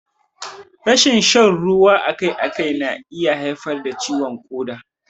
Rashin shan ruwa akai akai na iya haifar da ciwon ƙoda.